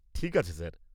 ঠিক আছে স্যার।